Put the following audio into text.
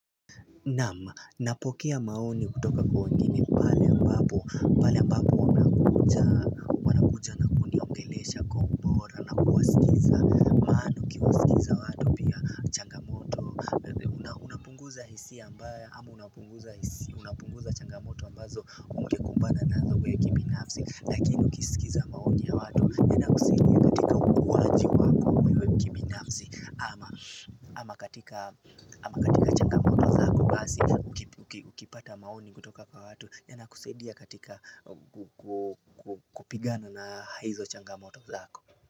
Naam napokea maoni kutoka kwa wengine pale ambapo pale ambapo wamekuja wanakuja na kuniongelesha kwa ubora na kuwasikiza maana ukiwaskiza watu pia changamoto unapunguza hisia ambayo hakuna mtu changamoto ambazo ungekumbana nazo wee kibinafsi Lakini ukiskiza maoni kutoka kwa watu ya nakusaidia katika kupigana na hizo changamoto zako.